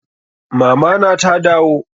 Mama na ta dawo?